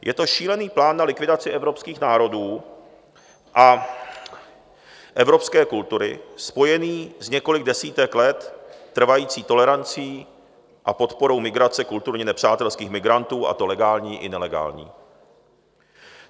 Je to šílený plán na likvidaci evropských národů a evropské kultury spojený s několik desítek let trvající tolerancí a podporou migrace kulturně nepřátelských migrantů, a to legální i nelegální.